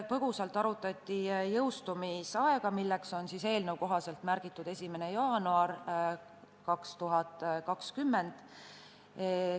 Põgusalt arutati jõustumisaega, milleks on eelnõus märgitud 1. jaanuar 2020.